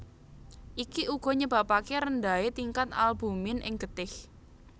Iki uga nyebabake rendahe tingkat albumin ing getih